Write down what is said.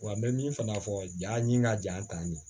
Wa n bɛ min fana fɔ ja ɲini ka ja tan de